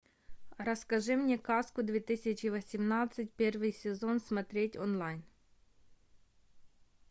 расскажи мне сказку две тысячи восемнадцать первый сезон смотреть онлайн